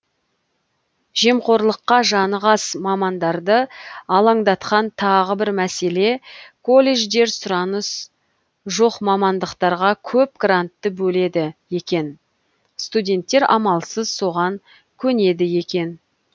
жемқорлыққа жаны қас мамандарды алаңдатқан тағы бір мәселе колледждер сұраныс жоқ мамандықтарға көп грантты бөледі екен студенттер амалсыз соған көнеді екен